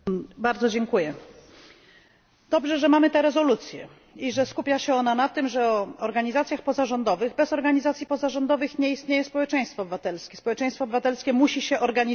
Panie Przewodniczący! Dobrze, że mamy tę rezolucję i że skupia się ona na organizacjach pozarządowych. Bez organizacji pozarządowych nie istnieje społeczeństwo obywatelskie. Społeczeństwo obywatelskie musi się organizować.